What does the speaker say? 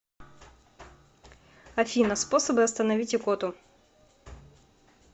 афина способы остановить икоту